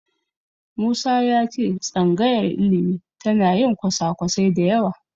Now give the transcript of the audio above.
Musa ya ce tsangayar ilimi tana yin kwasa-kwasai da yawa.